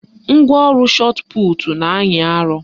Ngwaọrụ shọtputu na-anyị arọ